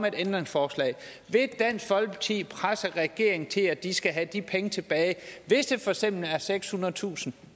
et ændringsforslag vil dansk folkeparti presse regeringen til at de folk skal have de penge tilbage hvis det for eksempel er sekshundredetusind